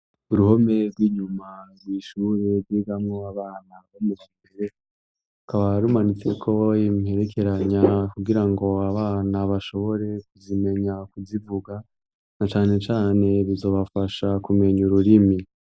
Uruhome rw'inyuma kw'ishure, ryigamwo abana bo muwa mbere rukaba rumanitseko imperekeranya kugira ngo abana bashobore kuzimenya kuzivuga, na cane cane bizobafasha kumenya ururimi.